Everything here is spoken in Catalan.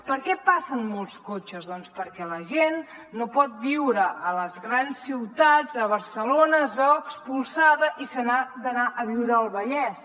per què passen molts cotxes doncs perquè la gent no pot viure a les grans ciutats a barcelona se’n veu expulsada i se n’ha d’anar a viure al vallès